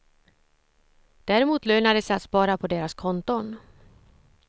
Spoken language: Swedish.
Däremot lönar det sig att spara på deras konton.